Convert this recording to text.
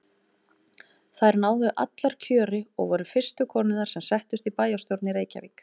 Þær náðu allar kjöri og voru fyrstu konurnar sem settust í bæjarstjórn í Reykjavík.